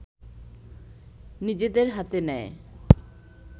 নিজেদের হাতে নেয়